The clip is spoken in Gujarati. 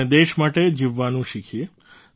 આપણે દેશ માટે જીવવાનું શીખીએ